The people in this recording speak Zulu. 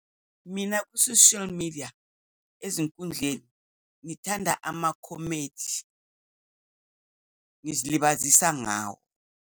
Mina, ku-social media, ezinkundleni, ngithanda ama-comedy. Ngizilibazisa ngawo.